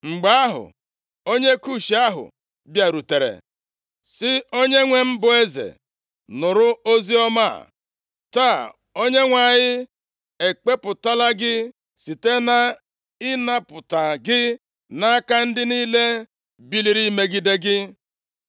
Mgbe ahụ, onye Kush ahụ bịarutere sị, “Onyenwe m bụ eze, nụrụ oziọma a. Taa Onyenwe anyị ekpepụtala gị site nʼịnapụta gị nʼaka ndị niile biliri imegide gị.”